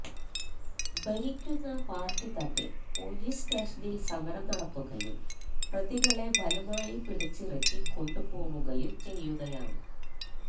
ഭരിക്കുന്ന പാര്ട്ടി തന്നെ പൊലീസ് സ്റ്റേഷനില് സമരം നടത്തുകയും പ്രതികളെ ബലമായി പിടിച്ചിറക്കി കൊണ്ടുപോകുകയും ചെയ്യുകയാണ്